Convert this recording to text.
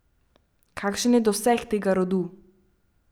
Kakšen je doseg tega rodu?